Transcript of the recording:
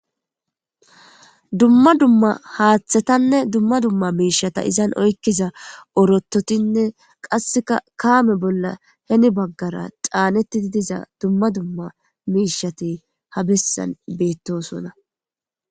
Dumma dumma haththetanne dumma dummamisheta izan oykiza ortotinne qasseka kame bolla heni bagara chanetidi diza mishati habesan betosona.